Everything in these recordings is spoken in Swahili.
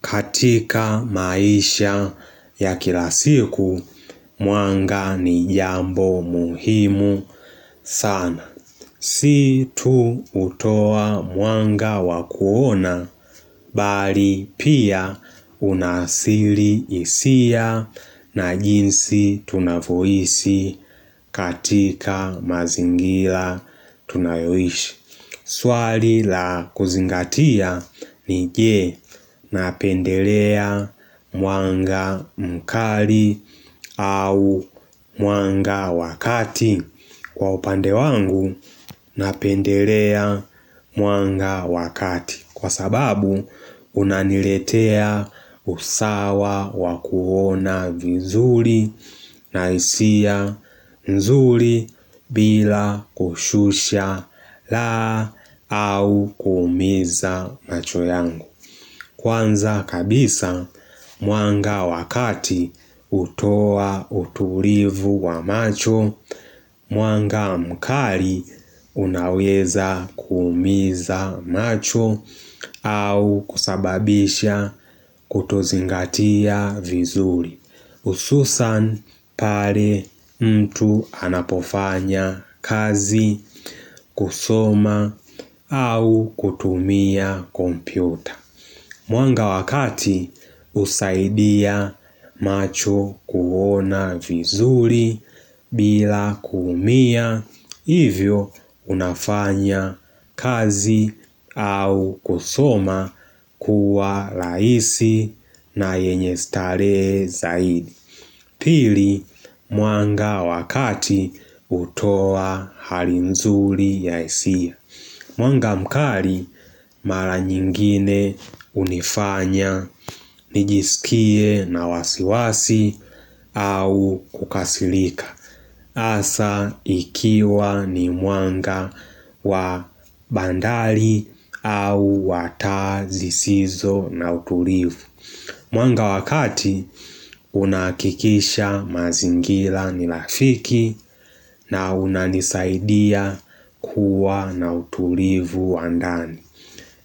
Katika maisha ya kila siku, mwanga ni jambo muhimu sana. Si tu utoa mwanga wa kuona, bali pia unasiri isia na jinsi tunavoisi katika mazingila tunayoishi. Swali la kuzingatia ni je na pendelea mwanga mkali au mwanga wa kati Kwa upande wangu napendelea mwanga wa kati Kwa sababu unaniletea usawa wa kuona vizuri na isia nzuri bila kushusha la au kuumiza macho yangu Kwanza kabisa mwanga wa kati utoa uturivu wa macho Mwanga mkari unaweza kuumiza macho au kusababisha kutozingatia vizuri Ususan pare mtu anapofanya kazi kusoma au kutumia kompyuta Mwanga wa kati usaidia macho kuona vizuri bila kuumia, hivyo unafanya kazi au kusoma kuwa laisi na yenye starehe zaidi piri mwanga wa kati utoa hali nzuli ya isia Mwanga mkari mara nyingine unifanya nijisikie na wasiwasi au kukasilika Asa ikiwa ni mwanga wa bandari au wa taa zisizo na utulivu Mwanga wa kati unaakikisha mazingila ni lafiki na unanisaidia kuwa na utulivu wa ndani.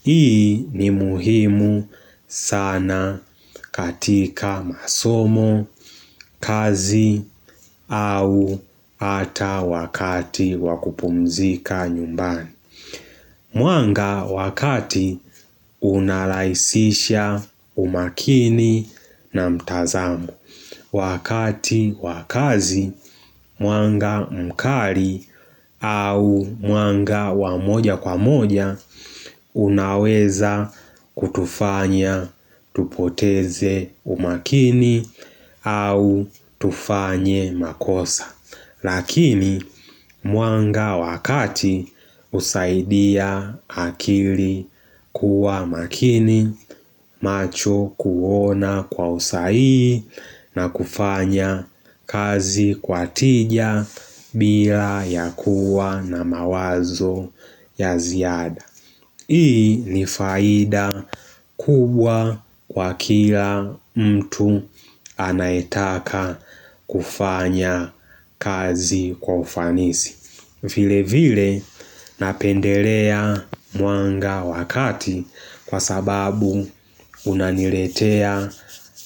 Hii ni muhimu sana katika masomo, kazi au ata wakati wa kupumzika nyumbani. Mwanga wa kati unalaisisha umakini na mtazamu Wakati wa kazi mwanga mkari au mwanga wa moja kwa moja Unaweza kutufanya tupoteze umakini au tufanye makosa Lakini mwanga wa kati usaidia akili kuwa makini macho kuona kwa usahihi na kufanya kazi kwa tija bila ya kuwa na mawazo ya ziada Hii ni faida kubwa kwa kila mtu anayetaka kufanya kazi kwa ufanisi. Vile vile napendelea mwanga wa kati kwa sababu unaniletea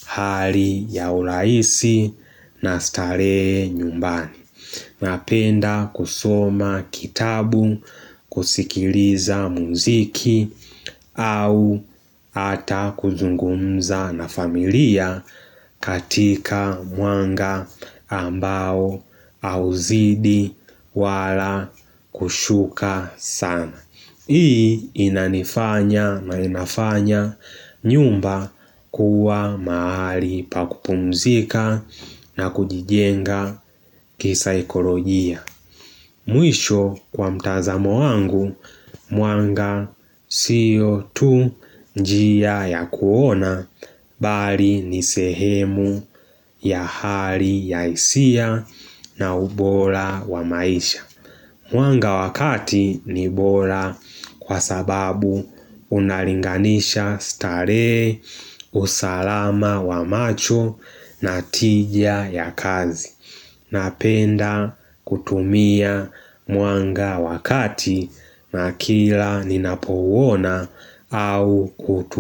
hali ya ulaisi na starehe nyumbani. Napenda kusoma kitabu, kusikiriza muziki au ata kuzungumza na familia katika mwanga ambao auzidi wala kushuka sana. Hii inanifanya na inafanya nyumba kuwa mahali pa kupumzika na kujijenga kisaekolojia. Mwisho kwa mtazamo wangu, mwanga sio tu njia ya kuona bari ni sehemu ya hali ya isia na ubola wa maisha. Mwanga wa kati ni bora kwa sababu unaringanisha starehe, usalama wa macho na tija ya kazi. Napenda kutumia mwanga wa kati na kila ninapouwona au kutu.